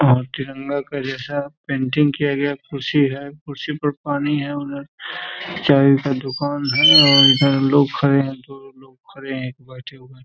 और तिरंगा के जैसा पैंटिंग किया गया है। कुर्सी है कुर्सी पर पानी है उधर चाय का दुकान है और इधर लोग खड़े है दो लोग खड़े है और एक बैठे हुए है।